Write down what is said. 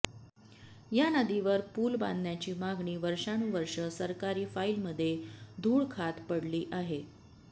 या नदीवर पूल बांधण्याची मागणी वर्षानुवर्ष सरकारी फाइलमध्ये धूळ खात पडली आहे